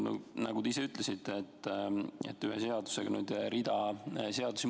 Nii nagu te ütlesite, muudetakse ühe seadusega rida seadusi.